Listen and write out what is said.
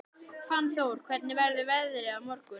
Fannþór, hvernig verður veðrið á morgun?